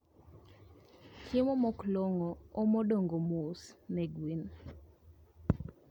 Chiemo moklongo omo dongo mos ne gwen